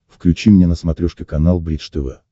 включи мне на смотрешке канал бридж тв